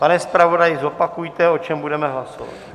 Pane zpravodaji, zopakujte, o čem budeme hlasovat.